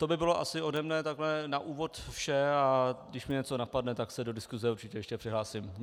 To by bylo asi ode mne takhle na úvod vše, a když mě něco napadne, tak se do diskuse určitě ještě přihlásím.